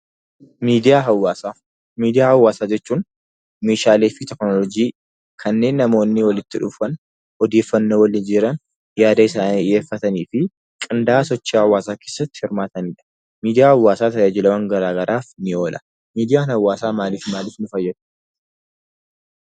Miidiyaa hawaasaa jechuun meeshaalee teekinooloojii kanneen namoonni walitti dhufan odeeffannoo wal jijjiiran, yaada isaanii dhiyeeffatanii fi qindaa'ina sochii hawaasaa keessatti hirmaatanidha. Miidiyaa haawaasaa tajaajilawwan gara garaaf ni oola. Miidiyaan hawaasaa maaliif maaliif nu fayyadu?